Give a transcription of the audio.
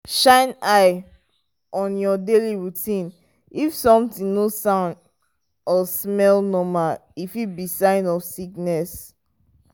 shine eye on your daily routine if something no sound or smell normal e fit be sign of sickness.